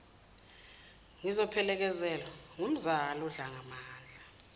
ngizophelekezelwa ngumzala undlangamandla